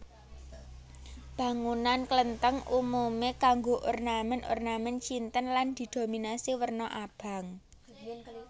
Bangunan Klenthèng umume nganggo ornamen ornamen Cinten lan didominasi werna abang